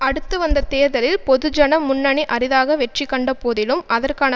அடுத்து வந்த தேர்தலில் பொதுஜன முன்னணி அரிதாக வெற்றி கண்டபோதிலும் அதற்கான